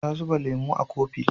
Ta zuba lemo a kofi